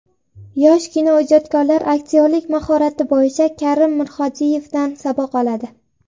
Yosh kinoijodkorlar aktyorlik mahorati bo‘yicha Karim Mirhodiyevdan saboq oladi.